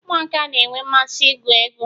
ụmụaka na-enwe mmasị igwu egwu